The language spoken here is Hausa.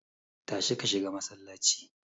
Tashi ka shiga masallaci.